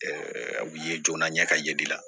u ye jɔnnɛ ka ye de